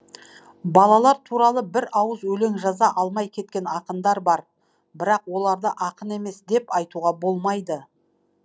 балалар туралы бір ауыз өлең жаза алмай кеткен ақындар бар бірақ оларды ақын емес деп айтуға болмайды